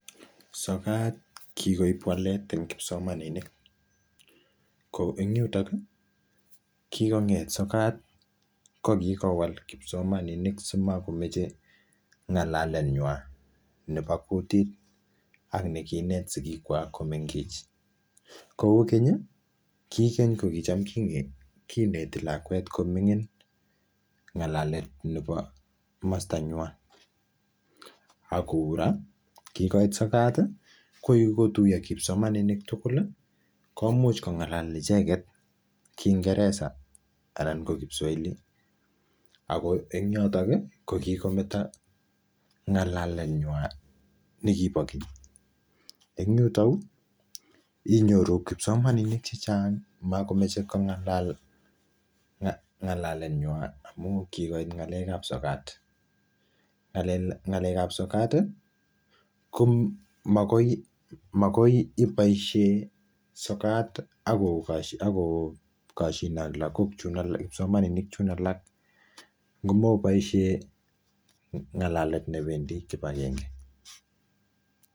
Sokat kikoib walet eng' kipsomaninik ko eng' yuto kikong'et sokat ko kikowal kipsomaninik simakomechei ng'alenywai nebo kutit ak nekiinet sikikwach komengech kou keny ki keny kicham kineti lakwet koming'in ng'alet nebo komostanywai ako eng' ra kikoit sokat ko kikotuiyo kipsomaninik tugul komuch kong'alal icheget kingeresa anan ko kipswoili ako eng' yoto ko kikometo ng'alaletnywai nikibo keny eng' yutoyu inyoru kipsomaninik chechang' makomechei kong'alal ng'alaletnywai amu kikoit ng'alekab sokat ng'alekab sokat ko makoi iboishe sokat akokoshine ak kipsomaninik chun alak ngomoboishe ng'alet nebendi kipagenge